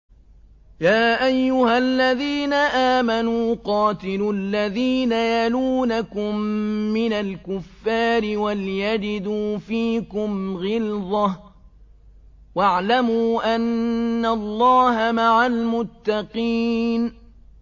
يَا أَيُّهَا الَّذِينَ آمَنُوا قَاتِلُوا الَّذِينَ يَلُونَكُم مِّنَ الْكُفَّارِ وَلْيَجِدُوا فِيكُمْ غِلْظَةً ۚ وَاعْلَمُوا أَنَّ اللَّهَ مَعَ الْمُتَّقِينَ